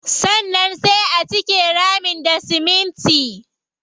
Sannan sai a cike ramin da siminti.